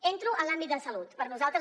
entro en l’àmbit de la salut per nosaltres